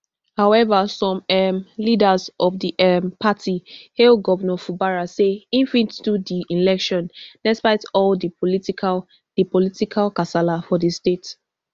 however some um leaders of di um party hail govnor fubara say e fit do di election despite all di political di political kasala for di state